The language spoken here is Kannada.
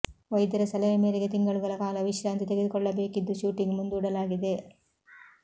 ವೈದ್ಯರ ಸಲಹೆ ಮೇರೆಗೆ ತಿಂಗಳುಗಳ ಕಾಲ ವಿಶ್ರಾಂತಿ ತೆಗೆದುಕೊಳ್ಳಬೇಕಿದ್ದು ಶೂಟಿಂಗ್ ಮುಂದೂಡಲಾಗಿದೆ